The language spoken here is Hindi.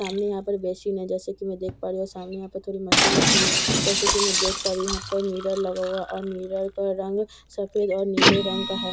सामने यहां पर बेसिन है जैसे कि मैं देख पा रही हूं सामने यहां पे थोड़ी मशीन रखी हुई है जैसे कि मैं देख पा रही हूं यहां पर मिरर लगा हुआ है और मिरर का रंग सफेद और नीले रंग का है।